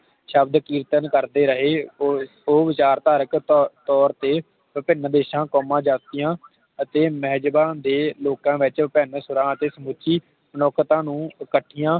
ਸ਼ਬਦ ਕੀਰਤਨ ਕਰਦੇ ਰਹੇ ਉਹ ਉਹ ਵਿਚਾਰਧਾਰਕ ਤੋਰ ਤੋਰ ਤੇ ਵਿਭਿਨ ਦੇਸ਼ਾਂ, ਜਾਤੀਆਂ ਅਤੇ ਮਹਿਜਾਬਾ ਦੇ ਲੋਕਾਂ ਵਿਚ ਵਿਭਿਨ ਸੁਰਾਂ ਤੇ ਸੂਚੀ ਮਨੁੱਖਤਾ ਨੂੰ ਇਕੱਠੀਆਂ